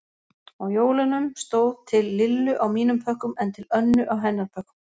Á jólunum stóð Til Lillu á mínum pökkum en Til Önnu á hennar pökkum.